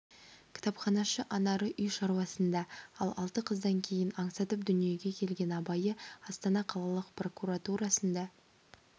кітапханашы анары үй шаруасында ал алты қыздан кейін аңсатып дүниеге келген абайы астана қалалық прокуратурасында